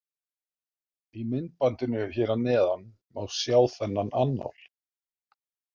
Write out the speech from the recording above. Í myndbandinu hér að neðan má sjá þennan annál.